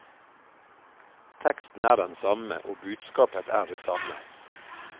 Teksten er den samme og budskapet er det samme.